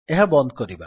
ଏହା ବନ୍ଦ କରିବା